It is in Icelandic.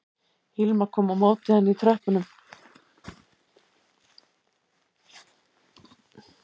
Hilma kom á móti henni í tröppunum